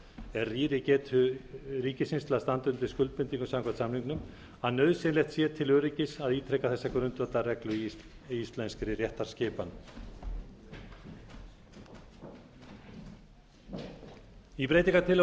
er rýri getu ríkisins til að standa undir skuldbindingum samkvæmt samning árum að nauðsynlegt sé til öryggis að ítreka þessa grundvallarreglu í íslenskri réttarskipan í breytingartillögunum